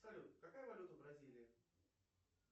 салют какая валюта в бразилии